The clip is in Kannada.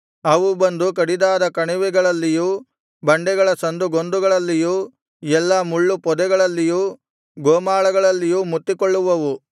ಅವು ಬಂದು ಕಡಿದಾದ ಕಣಿವೆಗಳಲ್ಲಿಯೂ ಬಂಡೆಗಳ ಸಂದುಗೊಂದುಗಳಲ್ಲಿಯೂ ಎಲ್ಲಾ ಮುಳ್ಳು ಪೊದೆಗಳಲ್ಲಿಯೂ ಗೋಮಾಳಗಳಲ್ಲಿಯೂ ಮುತ್ತಿಕೊಳ್ಳುವವು